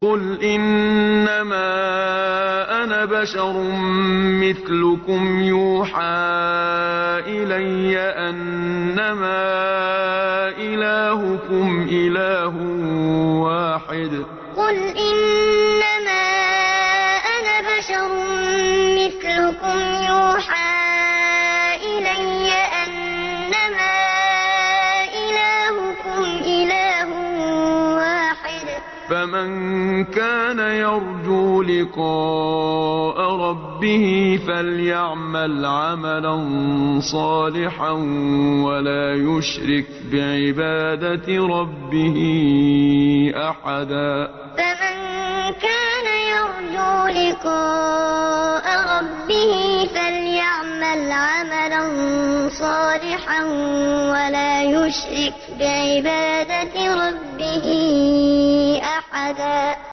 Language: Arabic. قُلْ إِنَّمَا أَنَا بَشَرٌ مِّثْلُكُمْ يُوحَىٰ إِلَيَّ أَنَّمَا إِلَٰهُكُمْ إِلَٰهٌ وَاحِدٌ ۖ فَمَن كَانَ يَرْجُو لِقَاءَ رَبِّهِ فَلْيَعْمَلْ عَمَلًا صَالِحًا وَلَا يُشْرِكْ بِعِبَادَةِ رَبِّهِ أَحَدًا قُلْ إِنَّمَا أَنَا بَشَرٌ مِّثْلُكُمْ يُوحَىٰ إِلَيَّ أَنَّمَا إِلَٰهُكُمْ إِلَٰهٌ وَاحِدٌ ۖ فَمَن كَانَ يَرْجُو لِقَاءَ رَبِّهِ فَلْيَعْمَلْ عَمَلًا صَالِحًا وَلَا يُشْرِكْ بِعِبَادَةِ رَبِّهِ أَحَدًا